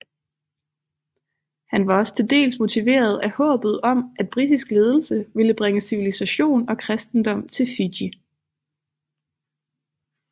Han var også til dels motiveret af håbet om at britisk ledelse ville bringe civilisation og kristendom til Fiji